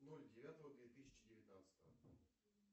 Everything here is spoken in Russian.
ноль девятого две тысячи девятнадцатого